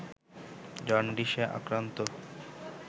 জন্ডিসে আক্রান্ত